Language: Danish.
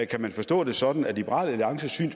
kan man forstå det sådan at liberal alliances syn